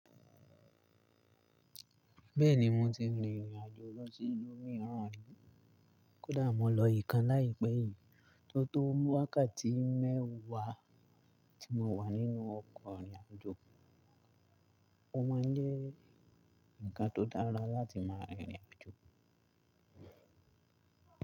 Bẹ́ẹ̀ni mo ti rìnrìn àjò lọ sí ìlú mìíràn rí, kódà mo lọ ìkan láìpẹ́ yìí tó tó wákàtí mẹ́wàá tí mo wà nínú ọkọ̀ rìnrìn àjò. Ó máa ń jẹ́ ǹkan tó dára láti máa rìnrìn àjò.